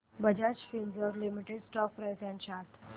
Bajaj Finserv limited stock price and chart